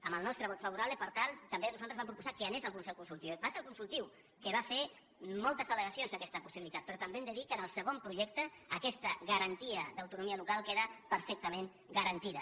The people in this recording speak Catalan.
amb el nostre vot favorable per tant nosaltres vam proposar que anés el consell consultiu va ser el consultiu que va fer moltes al·legacions a aquesta possibilitat però també hem de dir que en el segon projecte aquesta garantia d’autonomia local queda perfectament garantida